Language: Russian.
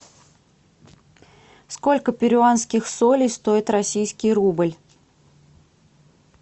сколько перуанских солей стоит российский рубль